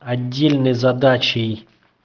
отдельной задачей